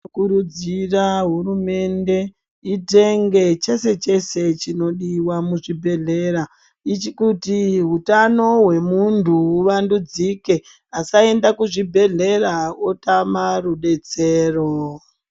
Tinokurudzira hurumende itenge chese-chese chinodiwa muzvibhedhlera, kuti hutano hwemuntu huvandudzike, asaende kuzvibhedhlera otama rudetsero.